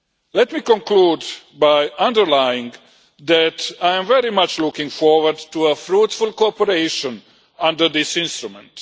Let me conclude by underlining that I am very much looking forward to fruitful cooperation under this instrument.